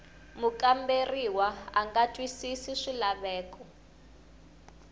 mukamberiwa a nga twisisi swilaveko